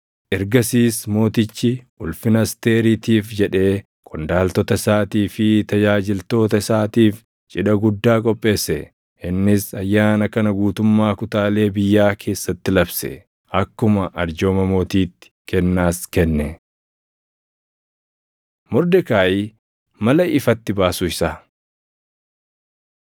Ergasiis mootichi ulfina Asteeriitiif jedhee qondaaltota isaatii fi tajaajiltoota isaatiif cidha guddaa qopheesse. Innis ayyaana kana guutummaa kutaalee biyyaa keessatti labse; akkuma arjooma mootiitti kennaas kenne. Mordekaayi Mala Ifatti Baasuu Isaa